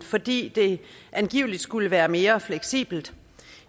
fordi det angiveligt skulle være mere fleksibelt